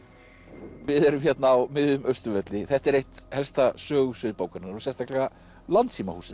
við erum hérna á miðjum Austurvelli þetta er eitt helsta sögusvið bókarinnar og sérstaklega